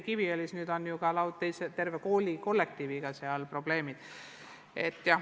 Kiviõlis on ju nüüd terve koolikollektiiviga probleemid.